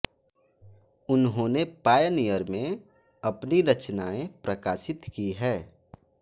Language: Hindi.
उन्होंने पायनियर में अपनी रचनाएँ प्रकाशित की हैं